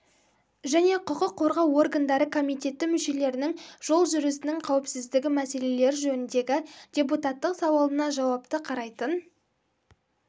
және құқық қорғау органдары комитеті мүшелерінің жол жүрісіннің қауіпсіздігі мәселелері жөніндегі депутаттық сауалына жауапты қарайтын